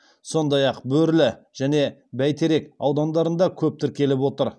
сондай ақ бөрлі және бәйтерек аудандарында көп тіркеліп отыр